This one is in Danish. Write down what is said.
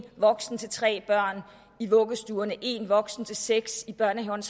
voksen til tre børn i vuggestuerne og én voksen til seks i børnehaverne